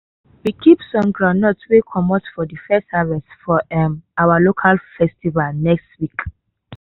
we keep some groundnuts wey comot from de first harvest for um our local festival next week.